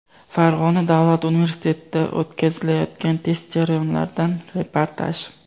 Farg‘ona davlat universitetida o‘tkazilayotgan test jarayonlaridan reportaj.